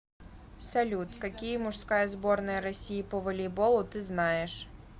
салют какие мужская сборная россии по волейболу ты знаешь